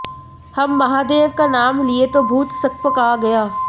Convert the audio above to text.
हम महादेव का नाम लिए तो भूत सकपका गया